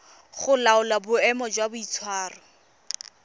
go laola boemo jwa boitshwaro